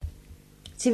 TV 2